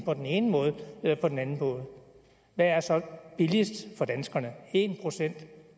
den ene eller den anden måde hvad er så billigst for danskerne en procent